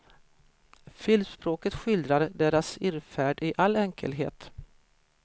Filmspråket skildrar deras irrfärd i all enkelhet.